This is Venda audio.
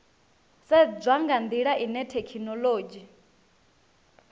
sedzwa nga ndila ine thekhinolodzhi